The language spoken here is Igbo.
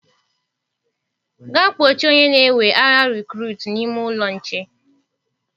Gaa kpochie onye na-ewe agha rekurutu n'ime ụlọ nche.